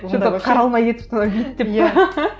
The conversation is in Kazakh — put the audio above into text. қаралмай кетіпті ғой бейіт деп пе